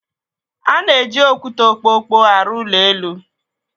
A na-eji okwute okpokpo arụ ụlọ elu.